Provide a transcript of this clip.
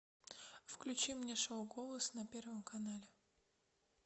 включи мне шоу голос на первом канале